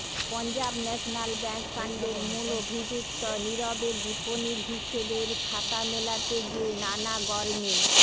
Punjab national bank কাণ্ডের মূল অভিযুক্ত নীরবের বিপণির হিসেবের খাতা মেলাতে গিয়ে নানা গরমিল